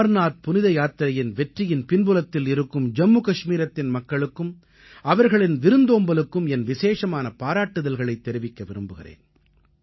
அமர்நாத் புனித யாத்திரையின் வெற்றியின் பின்புலத்தில் இருக்கும் ஜம்மு கஷ்மீரத்தின் மக்களுக்கும் அவர்களின் விருந்தோம்பலுக்கும் என் விசேஷமான பாராட்டுக்களைத் தெரிவிக்க விரும்புகிறேன்